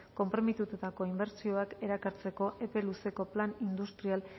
konprometitutako inbertsioak erakartzeko epe luzeko plan industrial